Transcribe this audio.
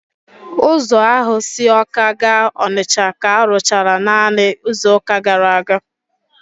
Ụzọ ahụ si Awka gaa Onitsha ka arụchara naanị izuụka gara aga